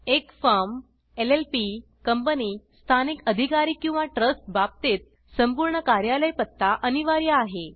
एक firm LLP company स्थानिक अधिकारी किंवा ट्रस्ट बाबतीत संपूर्ण कार्यालय पत्ता अनिवार्य आहे